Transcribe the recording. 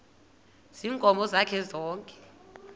ziinkomo zakhe zonke